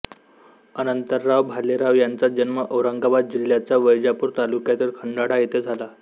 अनंतराव भालेराव यांचा जन्म औरंगाबाद जिल्ह्याच्या वैजापूर तालुक्यातील खंडाळा येथे झाला